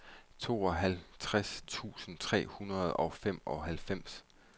tooghalvtreds tusind tre hundrede og femoghalvfems